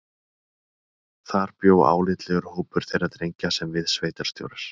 Þar bjó álitlegur hópur þeirra drengja sem við sveitarstjórar